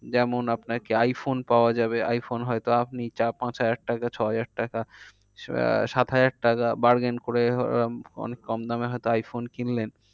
যেমন আপনার কি আইফোন পাওয়া যাবে। আইফোন হয় তো আপনি চার পাঁচ হাজার টাকা ছহাজার টাকা আহ সাত হাজার টাকা bargain করে অনেক কম দামে হয় তো আইফোন কিনলেন